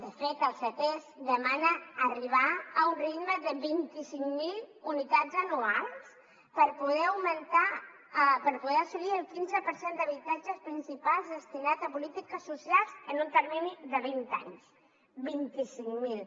de fet el ctesc demana arribar a un ritme de vint cinc mil unitats anuals per poder assolir el quinze per cent d’habitatges principals destinats a polítiques socials en un termini de vint anys vint cinc mil